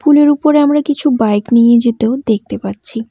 পুল -এর উপরে আমরা কিছু বাইক নিয়ে যেতেও দেখতে পাচ্ছি।